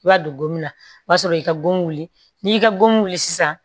I b'a don gomina o y'a sɔrɔ i ka go wuli n'i y'i ka goli sisan